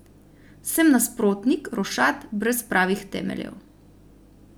Sem nasprotnik rošad brez pravih temeljev.